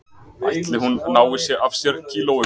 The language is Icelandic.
Ætli hún nái af sér kílóunum